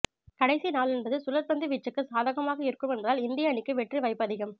கடைசி நாள் என்பது சுழற்பந்து வீச்சுக்கு சாதகமாக இருக்கும் என்பதால் இந்திய அணிக்கு வெற்றி வாய்ப்பு அதிகம்